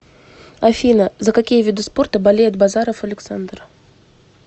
афина за какие виды спорта болеет базаров александр